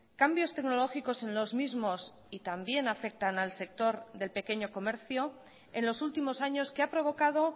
cambios tecnológicos en los mismos y también afectan al sector del pequeño comercio en los últimos años que ha provocado